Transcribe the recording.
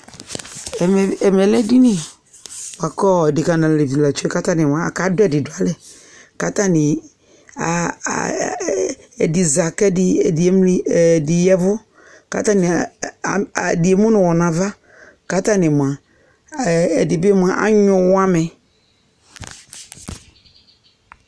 ɛmɛ lɛ edini boa kò adeka n'alevi la tsue k'atani moa aka do ɛdi do alɛ k'atani a ɛdi za k'ɛdi emli ɛdi yavu k'atani ɛdi emu n'uwɔ n'ava k'atani moa ɛdi bi moa anyue uwɔ amɛ